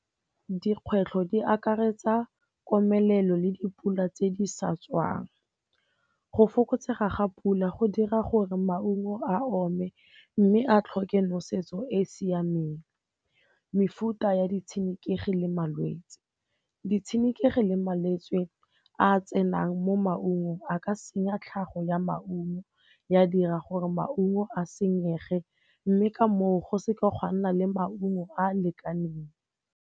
Dikgwetlho di akaretsa komelelo le dipula tse di sa tswang. Go fokotsega ga pula go dira gore maungo a ome mme a tlhoke nosetso e e siameng. Mefuta ya ditshenekegi le malwetse, ditshenekegi le malwetse a tsenang mo maungong a ka senya tlhago ya maungo, ya dira gore maungo a senyege mme ka moo, go seka ga nna le maungo a a lekaneng.